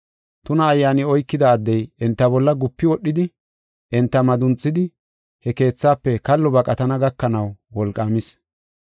Tuna ayyaani oykida addey enta bolla gupi wodhidi, enta madunxisidi, he keethafe kallo baqatana gakanaw wolqaamis.